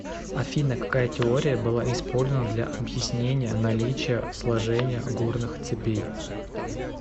афина какая теория была использована для объяснения наличия сложения горных цепей